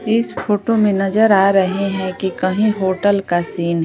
इस फोटो में नजर आ रहे हैं कि कहीं होटल का सीन --